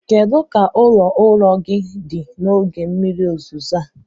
Kedu ka ụlọ ụrọ gị dị n'oge mmiri ozuzo a?